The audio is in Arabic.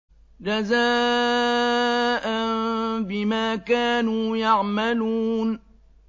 جَزَاءً بِمَا كَانُوا يَعْمَلُونَ